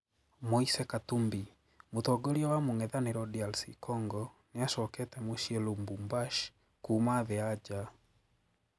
Moise Katumbi: Mũtongoria wa mung'ethaniro DRC Congo niacokete mucii Lumbushashi kuuma thii ya njaa.